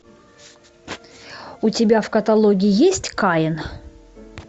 у тебя в каталоге есть каин